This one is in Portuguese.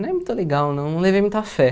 Não é muito legal não, não levei muita fé.